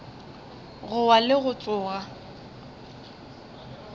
go wa le go tsoga